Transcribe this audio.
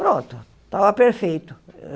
Pronto, tava perfeito.